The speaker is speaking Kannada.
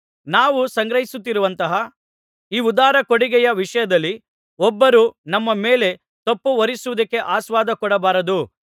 ನಾವು ಸಂಗ್ರಹಿಸುತ್ತಿರುವಂತಹ ಈ ಉದಾರ ಕೊಡುಗೆಯ ವಿಷಯದಲ್ಲಿ ಒಬ್ಬರೂ ನಮ್ಮ ಮೇಲೆ ತಪ್ಪುಹೊರಿಸುವುದಕ್ಕೆ ಆಸ್ಪದಕೊಡಬಾರದು